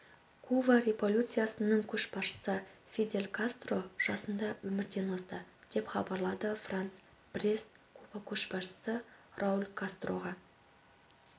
куба революциясының көшбасшысы фидель кастро жасында өмірден озды деп хабарлады франс пресс куба көшбасшысы рауль кастроға